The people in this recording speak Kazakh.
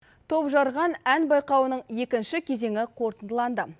топжарған ән байқауының екінші кезеңі қорытындыланды